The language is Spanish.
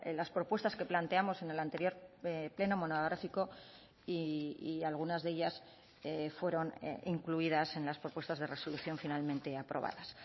las propuestas que planteamos en el anterior pleno monográfico y algunas de ellas fueron incluidas en las propuestas de resolución finalmente aprobadas